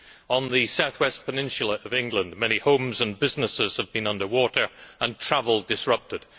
On the south west peninsula of England, many homes and businesses have been under water and travel has been disrupted.